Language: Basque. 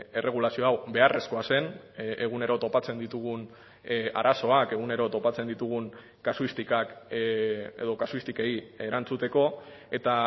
erregulazio hau beharrezkoa zen egunero topatzen ditugun arazoak egunero topatzen ditugun kasuistikak edo kasuistikei erantzuteko eta